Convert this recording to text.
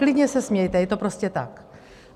Klidně se smějte, je to prostě tak.